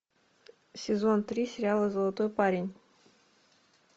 сезон три сериала золотой парень